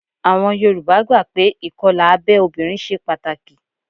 Àwọn Yorùbá gbà pé ìkọlà abẹ́ obìnrin ṣe pàtàkì